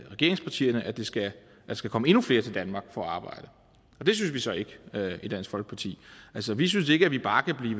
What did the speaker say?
regeringspartierne at der skal skal komme endnu flere til danmark for at arbejde og det synes vi så ikke i dansk folkeparti altså vi synes ikke at vi bare kan